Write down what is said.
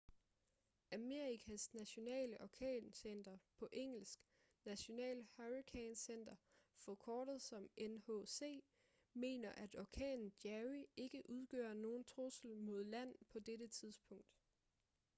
amerikas nationale orkancenter på engelsk national hurricane center forkortet som nhc mener at orkanen jerry ikke udgør nogen trussel mod land på dette tidspunkt